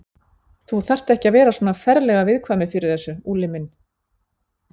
Þú þarft ekki að vera svona ferlega viðkvæmur fyrir þessu, Úlli minn.